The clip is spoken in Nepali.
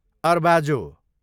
अर्बाजो